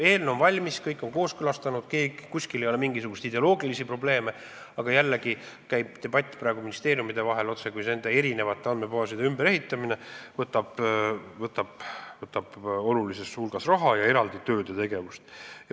Eelnõu on valmis, kõik on selle kooskõlastanud, mingisuguseid ideoloogilisi probleeme ei ole, aga praegu käib debatt ministeeriumide vahel, sest andmebaaside ümberehitamine võtab olulisel hulgal raha ning tähendab eraldi töid ja tegevusi.